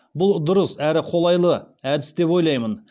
бұл дұрыс әрі қолайлы әдіс деп ойлаймын